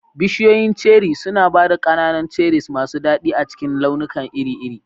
Bishiyoyin Cherry suna ba da ƙananan cherries masu daɗi a cikin launuka iri-iri.